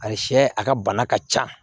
A sɛ a ka bana ka ca